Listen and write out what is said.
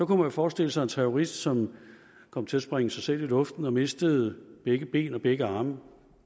man jo forestille sig en terrorist som kom til at sprænge sig selv i luften og mistede begge ben og begge arme